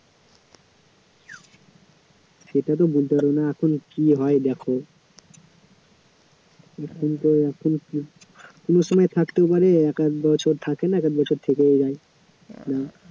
সেটা তো বলতে পারি না এখন কী হয় দেখো এখন তো এখন এক~ কোনো সময় থাকতেও পারে এক-আধ বছর থাকে না এক এক বছর থেকেও যায়